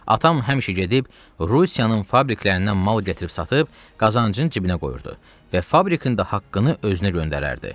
Atam həmişə gedib Rusiyanın fabriklərindən mal gətirib satıb, qazancın cibinə qoyurdu və fabrikin də haqqını özünə göndərərdi.